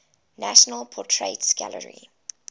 national portrait gallery